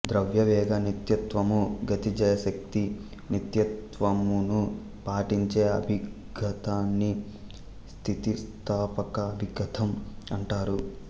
ద్రవ్యవేగ నిత్యత్వము గతిజశక్తి నిత్యత్వమును పాటించే అభిఘాతాన్ని స్థితిస్థపక అభిఘాతం అంటారు